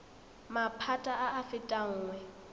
maphata a a fetang nngwe